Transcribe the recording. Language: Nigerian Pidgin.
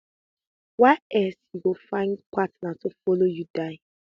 wia else you go find partner to follow you die